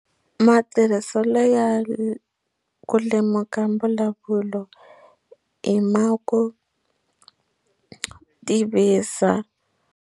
Matirhiselo ya ku lemuka mbulavulo i ma ku tivisa.